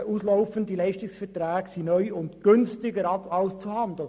Auslaufende Leistungsverträge seien neu und günstiger auszuhandeln.